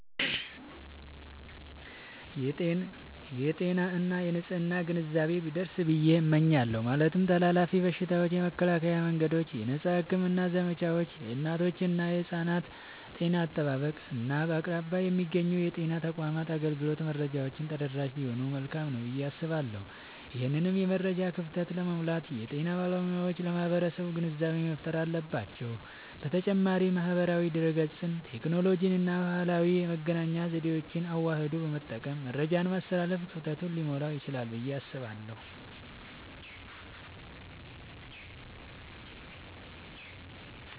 የጤና እና የንፅህና ግንዛቤ ቢደርስ ብየ እመኛለሁ። ማለትም ተላላፊ በሽታዎችን የመከላከያ መንገዶች፣ የነፃ ሕክምና ዘመቻዎች፣ የእናቶችና የሕፃናት ጤና አጠባበቅ፣ እና በአቅራቢያ የሚገኙ የጤና ተቋማት አገልግሎት መረጃዎች ተደራሽ ቢሆኑ መልካም ነዉ ብየ አስባለሁ። ይህንን የመረጃ ክፍተት ለመሙላት የጤና ባለሙያዎች ለማህበረሰቡ ግንዛቤ መፍጠር አለባቸዉ። በተጨማሪም ማህበራዊ ድህረገጽን፣ ቴክኖሎጂንና ባህላዊ የመገናኛ ዘዴዎችን አዋህዶ በመጠቀም መረጃን ማስተላለፍ ክፍተቱን ሊሞላዉ ይችላል ብየ አስባለሁ።